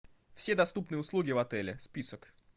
все доступные услуги в отеле список